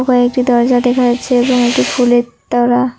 ও একটি দরজা দেখা যাচ্ছে এবং একটি ফুলের তোড়া।